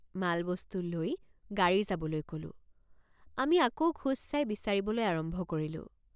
মালবস্তু লৈ গাড়ী যাবলৈ কলোঁ। মালবস্তু লৈ গাড়ী যাবলৈ কলোঁ। আমি আকৌ খোজ চাই বিচাৰিবলৈ আৰম্ভ কৰিলোঁ।